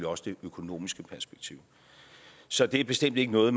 også det økonomiske perspektiv så det er bestemt ikke noget